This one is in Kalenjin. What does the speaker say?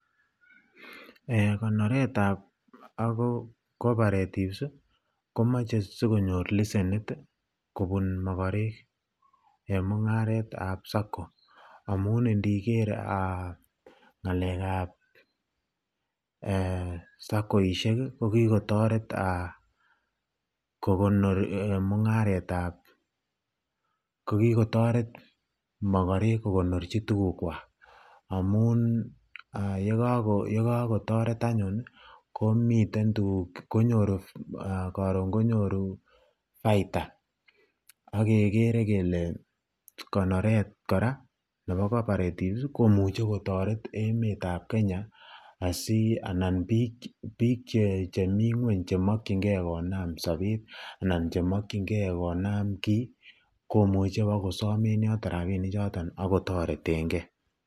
Eeh konoretab cooperatives komoche sikonyor leshenit kobun mokorek en mung'aretab Sacco, amun indiker ng'alekab Sacco ishek ko kikotoret mung'aretab kokikotoret mokorek kokonorchi tukukwak amun yekakotoret anyun komiten tukuk konyoru koron konyoru baita ak kekere kelee konoret kora nebo cooperatives komuche kotoret emetab Kenya anan biik cheming'weny chemokying'e konam sobet anan chemokying'e konam kii komuche bokosom rabinichoton ak kotoreteng'e.